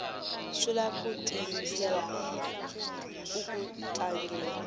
swi lava ku tiyimisela uku tlangeni